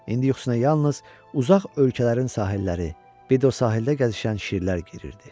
İndi yuxusuna yalnız uzaq ölkələrin sahilləri, bir də o sahildə gəzişən şirlər girirdi.